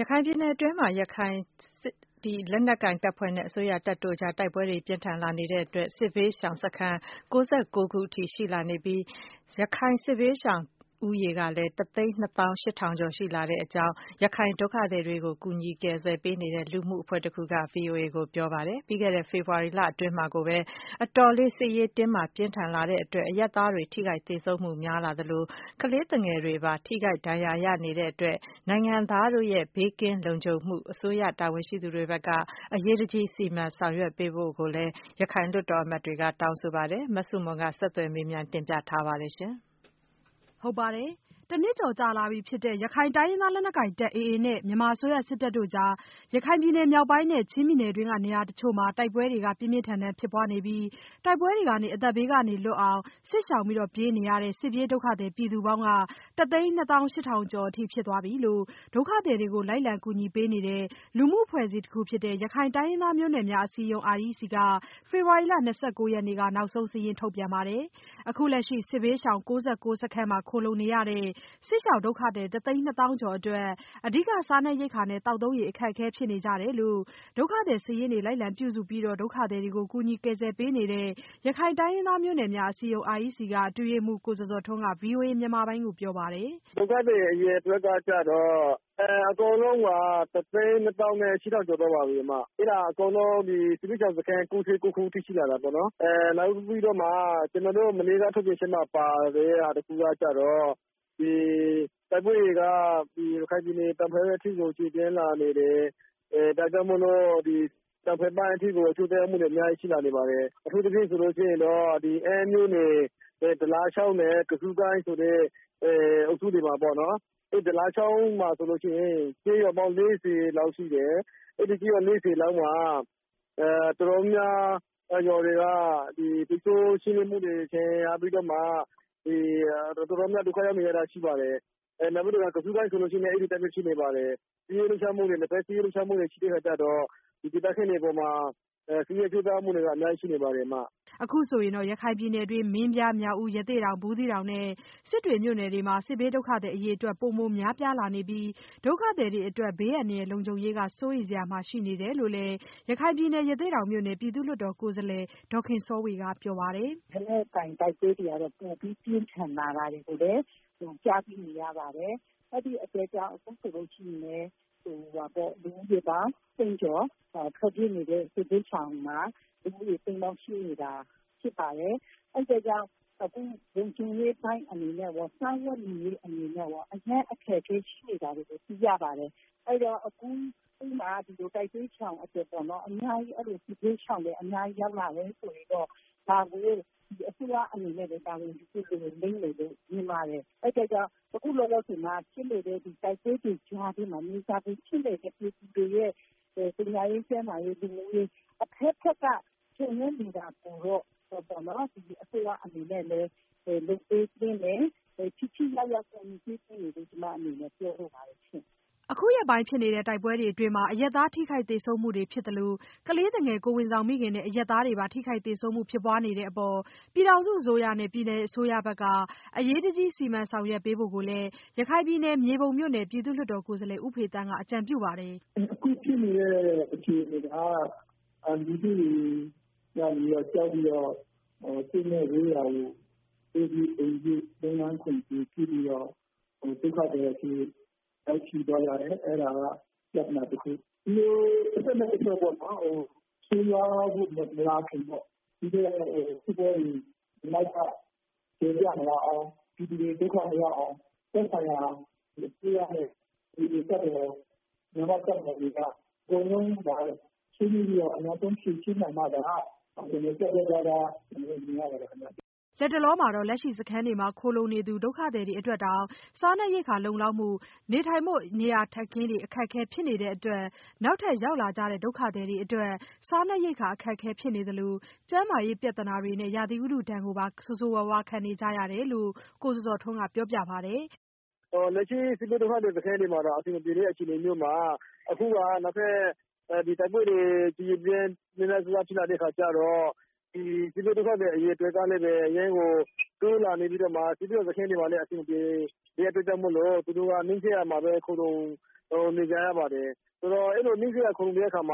ရခိုင်ပြည်နယ်တွင်း ရခိုင်တပ်နဲ့ အစိုးရတပ်တို့ကြား တိုက်ပွဲတွေ ပြင်းပြင်းထန်ထန် ဖြစ်ပွားလာနေတဲ့အတွက် စစ်ဘေးရှောင်စခန်း ၉၉ ခုထိရှိလာပြီး ရခိုင်စစ်ပြေးစစ်ရှောင်ဦးရေက တသိန်းနှစ်သောင်းရှစ်ထောင်ကျော်အထိ ဖြစ်လာနေပြီလို့ ရခိုင်ဒုက္ခသည်တွေကို ကူညီကယ်ဆယ်ပေးနေတဲ့ လူမှုအဖွဲ့တခုက ပြောဆိုလိုက်ပါတယ်။ ပြီးခဲ့တဲ့ ဖေဖော်ဝါရီလအတွင်းမှာကို စစ်ရေးတင်းမာမှု အတော်လေး ပြင်းထန်လာတဲ့အတွက် အရပ်သားတွေ ထိခိုက်သေဆုံးမှု များလာသလို ကလေးသူငယ်တွေပါ ထိခိုက်ဒဏ်ရာ ရနေတဲ့အတွက် နိုင်ငံသားတို့ ဘေးကင်းလုံခြုံမှု အစိုးရတာဝန်ရှိသူတွေဘက်က အရေးတကြီး စီမံဆောင်ရွက်ပေးဖို့ကိုလည်း ရခိုင်လွှတ်တော်အမတ်တွေက တောင်းဆိုပါတယ်။ အပြည့်အစုံကို မဆုမွန် ဆက်သွယ်မေးမြန်း တင်ပြထားပါတယ်။ တနှစ်ကျော်ကြာလာပြီဖြစ်တဲ့ ရခိုင်တိုင်းရင်းသားလက်နက်ကိုင်တပ် AA နဲ့ အစိုးရစစ်တပ်တို့ကြား ရခိုင်ပြည်နယ် မြောက်ပိုင်းနဲ့ ချင်းပြည်နယ်တွင်းက နေရာတချို့မှာ တိုက်ပွဲတွေ ပြင်းပြင်းထန်ထန် ဖြစ်ပွားနေပြီး တိုက်ပွဲတွေကနေ အသက်ဘေးကလွတ်အောင် စစ်ရှောင်ပြေးနေရတဲ့ စစ်ပြေးဒုက္ခသည် ပြည်သူပေါင်း တသိန်းနှစ်သောင်းရှစ်ထောင်ကျော်အထိ ဖြစ်သွားပြီလို့ ဒုက္ခသည်တွေကို လိုက်လံကူညီပေးနေတဲ့ လူမှုအဖွဲ့အစည်း ရခိုင်တိုင်းရင်းသားမျိုးနွယ်များ အစည်းအရုံး က ဖေဖော်ဝါရီလ ၂၉ ရက်နေ့က နောက်ဆုံး စာရင်းထုတ်ပြန်ပါတယ်။ အခုလက်ရှိ စစ်ဘေးရှောင်စခန်း ၉၉ ခုမှာ ခိုလှုံနေရတဲ့ စစ်ရှောင်ဒုက္ခသည် တသိန်းနှစ်သောင်းကျော်အတွက် အဓိက စားနပ်ရိက္ခာနဲ့ သောက်သုံးရေ အခက်အခဲ ဖြစ်နေကြတယ်လို့ ဒုက္ခသည်စာရင်းတွေကို လိုက်လံပြုစုပြီး ဒုက္ခသည်တွေကို ကူညီကယ်ဆယ်ပေးနေတဲ့ ရခိုင်တိုင်းရင်းသားမျိုးနွယ်များ အစည်းအရုံး က အတွင်းရေးမှူး ကိုဇော်ဇော်ထွန်းက ဗွီအိုအေမြန်မာပိုင်းကို ပြောပါတယ်။ “ဒုက္ခသည်အားလုံးရဲ့ အရေအတွက်က အကုန်လုံး တသိန်းနှစ်သောင်းရှစ်ထောင် ကျော်သွားပါပြီ။ အကုန်လုံး ဘူးသီးတောင်စခန်း ၉၉ ခုအထိ ရှိလာတာပေါ့။ ကျနော်တို့ မနေ့ကထုတ်ပြန်ချက်မှာ ပါတဲ့တခုကတော့ တိုက်ပွဲတွေက ရခိုင်ပြည်နယ် တောင်ပိုင်းအထိကို ကျယ်ပြန့်လာနေတယ်။ ဒါကြောင့်မို့ တောင်ဘက်ပိုင်းအထိကို အကျိုးသက်ရောက်မှုတွေ အများကြီး ရှိလာနေပါတယ်။ အထူးသဖြင့် အမ်းမြို့နယ် တလချောင်းနဲ့ ကဆူးကိုင်းဆိုတဲ့ အုပ်စုတွေမှာပေါ့။ တလချောင်းမှာဆိုရင် ကျေးရွာပေါင်း ၄၀ လောက်ရှိတယ်။ အဲဒီကျေးရွာ ၄၀ လောက်မှာ တော်တော်များများ ရွာတွေက တချို့ရှင်းလင်းမှုတွေမှာ ဒဏ်ရာရပြီးတော့ တော်တော်များများ ဒုက္ခရောက်နေကြတာ ရှိပါတယ်။ နောက် ကဆူးကိုင်းဆိုလည်း အဲဒီအတိုင်း ရှိနေပါတယ်။ နှစ်ဖက် စစ်ရေးလှုပ်ရှားမှုတွေ ရှိတဲ့အခါကြတော့ ဒေသခံတွေအပေါ်မှာ စစ်ရေးအကျိုးသက်ရောက်မှုတွေက အများကြီး နစ်နာမှုတွေ ရှိနေပါတယ်။” အခုဆိုရင် ရခိုင်ပြည်နယ်တွင်း မင်းပြား၊ မြောက်ဦး၊ ရသေ့တောင်၊ ဘူးသီးတောင်နဲ့ စစ်တွေမြို့နယ်တွေက စစ်ဘေးဒုက္ခသည် အရေအတွက် ပိုမိုများပြားလာနေပြီး ဒုက္ခသည်တွေအတွက် ဘေးအန္တရာယ်လုံခြုံရေးက စိုးရိမ်စရာ ရှိနေတယ်လို့လည်း ရသေ့တောင်မြို့နယ် ပြည်သူ့လွှတ်တော်ကိုယ်စားလှယ် ဒေါ်ခင်စောဝေက ပြောပါတယ်။ “လက်နက်ကိုင်တိုက်ပွဲတွေကတော့ ပိုပြီး ပြင်းထန်လာတယ်လို့ ကြားသိနေရပါတယ်။ အဲဒီအတွက်ကြောင့် အခုဆိုရင် လူဦးရေပေါင်း တသိန်းကျော်၊ ထွက်ပြေးနေတဲ့ စစ်ဘေးရှောင်က တသိန်းကျော် ရှိနေတာ ဖြစ်ပါတယ်။ အဲဒီအတွက်ကြောင့် အခု လုံခြုံရေးပိုင်း အနေနဲ့ရော စားဝတ်နေရေး အနေနဲ့ရော အရမ်း အခက်အခဲ ရှိနေတယ်လို့ သိရပါတယ်။ အဲဒါကြောင့် အခု တိုက်ပွဲရှောင်တွေ စစ်ဘေးရှောင်တွေ အများကြီး ရောက်လာတယ် ဆိုရင်တော့ ဒါကို အစိုးရအနေနဲ့ တာဝန်ယူသင့်တယ်လို့ မြင်ပါတယ်။ အခုလောလောဆယ် တိုက်ပွဲတွေကြားထဲမှာ မြေစာပင်ဖြစ်နေတဲ့ ပြည်သူတွေအတွက် ပညာရေး၊ ကျန်းမာရေး၊ လူမှုရေး အဘက်ဘက်က ချို့ယွင်းနေတာကို အစိုးရအနေနဲ့ လုပ်ပေးသင့်တယ်၊ ထိထိရောက်ရောက် ကူညီပေးသင့်တယ်လို့ ကျမအနေနဲ့ မြင်ပါတယ်။” အခုရက်ပိုင်းဖြစ်တဲ့ တိုက်ပွဲတွေအတွင်းမှာ အရပ်သား ထိခိုက်သေဆုံးမှု ဖြစ်သလို ကလေးသူငယ် ကိုယ်ဝန်ဆောင်မိခင်နဲ့ အရပ်သားတွေ ထိခိုက်သေဆုံးမှုတွေ ဖြစ်ပွားနေတဲ့အပေါ် ပြည်ထောင်စုအစိုးရနဲ့ ပြည်နယ်အစိုးရဘက်က အရေးတကြီး စီမံဆောင်ရွက်ပေးဖို့ကိုလည်း ရခိုင်ပြည်နယ် မြေပုံမြို့နယ် ပြည်သူ့လွှတ်တော်ကိုယ်စားလှယ် ဦးဖေသန်းကလည်း အကြံပြုပါတယ်။ “အခုဖြစ်နေတဲ့ အခြေအနေက လူထုတွေက ကြောက်ပြီးတော့ စစ်နဲ့ဝေးရာကို အိုးပစ်အိမ်ပစ် လုပ်ငန်းခွင်တွေပစ်ပြီးတော့ ဒုက္ခသည်အဖြစ် ရောက်ရှိသွားကြတယ်၊ အဲဒါက ပြဿနာတခု။ ဒီလို တဖက်နဲ့တဖက် ဆိုးရွားမလာခင် ပြီးတော့ စစ်ပွဲတွေ နောက်ထပ် ကျယ်ပြန့်မလာအောင် ပြည်သူတွေ ဒုက္ခမရောက်အောင် သက်ဆိုင်ရာ အစိုးရနဲ့ မြန်မာ့တပ်မတော် အကုန်လုံး ဆွေးနွေးပြီးတော့ အမြန်ဆုံး ဖြေရှင်းနိုင်မှသာ ပြတ်ပြတ်သားသား အဖြေရမယ်လို့ ထင်ပါတယ်။” လတ်တလောမှာတော့ လက်ရှိစခန်းတွေမှာ ခိုလှုံနေသူ ဒုက္ခသည်တွေအတွက်တောင် စားနပ်ရိက္ခာလုံလောက်မှု နေထိုင်ဖို့ နေရာထိုင်ခင်း အခက်အခဲတွေ ဖြစ်နေတဲ့အတွက် နောက်ထပ် ရောက်လာကြတဲ့ ဒုက္ခသည်တွေအတွက် စားနပ်ရိက္ခာ အခက်အခဲ ဖြစ်နေသလို ကျန်းမာရေးပြဿနာတွေနဲ့အတူ ရာသီဥတုဒဏ်ကို ခံနေကြရတယ်လို့ ကိုဇော်ဇော်ထွန်းက ပြောပါတယ်။ “လက်ရှိ စစ်ဘေးဒုက္ခသည်စခန်းတွေမှာတောင် အဆင်မပြေတဲ့ အခြေအနေမျိုးမှာ အခုက နောက်ထပ်တိုက်ပွဲတွေ ကျယ်ကျယ်ပြန့်ပြန့် များများစားစား ဖြစ်လာတဲ့ အခါကြတော့ စစ်ဘေးဒုက္ခသည် အရေအတွက်ကလည်း အရမ်းကို တိုးလာနေပြီး ဒုက္ခသည်စခန်းတွေမှာလည်း အဆင်မပြေတဲ့ အတွက်ကြောင့်မို့လို့ နီးစပ်ရာမှာပဲ ခိုလှုံနေကြရပါတယ်။ ဆိုတော့ အဲဒီလို နီးစပ်ရာ ခိုလှုံနေကြတဲ့အခါ